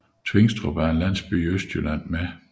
Tvingstrup er en landsby i Østjylland med